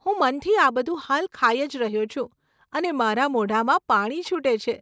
હું મનથી આ બધું હાલ ખાઈ જ રહ્યો છું અને મારા મોઢામાં પાણી છૂટે છે.